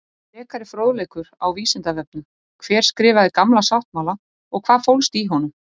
Frekari fróðleikur á Vísindavefnum: Hver skrifaði Gamla sáttmála og hvað fólst í honum?